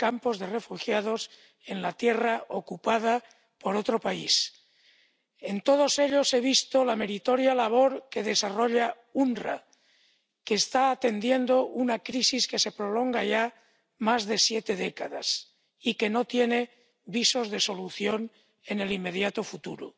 Campos de refugiados en la tierra ocupada por otro país. En todos ellos he visto la meritoria labor que desarrolla el OOPS, que está atendiendo una crisis que se prolonga ya más de siete décadas y que no tiene visos de solución en el inmediato futuro.